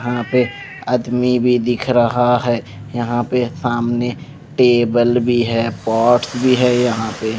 हाँ पे आदमी भी दिख रहा है यहाँ पे सामने टेबल भी हैं पॉट्स भी हैं यहाँ पे --